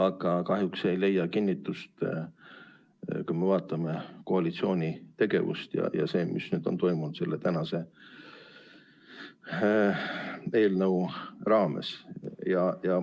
Aga kahjuks ei leia see kinnitust, kui me vaatame koalitsiooni tegevust ja seda, mis on toimunud selle tänase eelnõu raames.